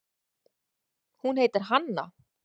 Hún heitir Hanna.